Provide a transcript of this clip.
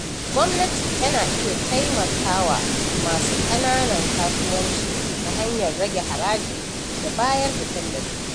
Gwamnati na iya taimaka wa masu ƙananan kasuwanci ta hanyar rage haraji da bayar da tallafi.